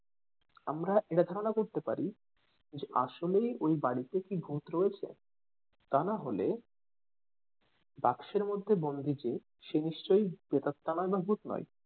আমরা এটা ধারণা করতে পারি যে আসলেই ওই বাড়িতে কি ভুত রয়েছে তা নাহলে বাক্সের মধ্যে বন্দি যে সে নিশ্চয় প্রেতাত্মা নয় বা ভুত নয়।